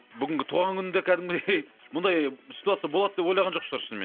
бүгінгі туған күнінде кәдімгідей бұндай ситуация болады деп ойлаған жоқ шығар шынымен